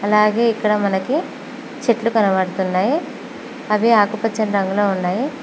అలాగే ఇక్కడ మనకి చెట్లు కనబడుతున్నాయి అవి ఆకుపచ్చని రంగులో ఉన్నాయి.